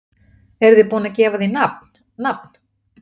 Eruð þið búin að gefa því nafn, nafn?